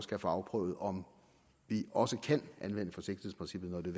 kan få afprøvet om vi også kan anvende forsigtighedsprincippet når det